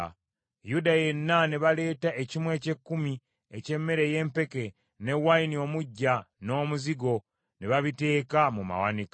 Yuda yenna ne baleeta ekimu eky’ekkumi eky’emmere ey’empeke ne wayini omuggya n’omuzigo, ne babiteeka mu mawanika.